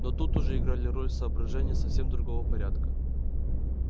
но тут уже играли роль соображения совсем другого порядка